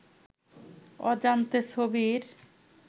অজান্তে ছবির